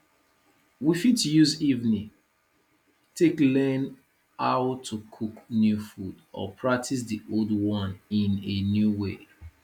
we fit use evening take learn how to cook new food or practice di old one in a new way